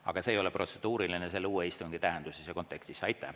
Aga see ei ole protseduuriline selle uue istungi tähenduses ja kontekstis.